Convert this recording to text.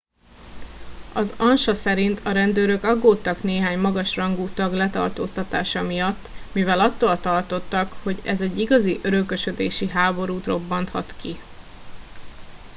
"az ansa szerint "a rendőrök aggódtak néhány magas rangú tag letartóztatása miatt mivel attól tartottak hogy ez egy igazi örökösödési háborút robbanthat ki.